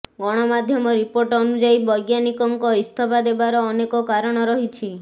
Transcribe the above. ଗଣମାଧ୍ୟମ ରିପୋର୍ଟ ଅନୁଯାୟୀ ବୈଜ୍ଞାନିକଙ୍କ ଇସ୍ତଫା ଦେବାର ଅନେକ କାରଣ ରହିଛି